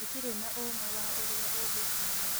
Tũtirĩ na ũma wa ũrĩa ũgũcinda